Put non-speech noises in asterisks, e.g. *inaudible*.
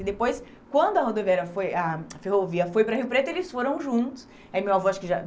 E depois, quando a rodoviária foi a *unintelligible* ferrovia foi para o Rio Preto, eles foram juntos. Aí meu avô acho que já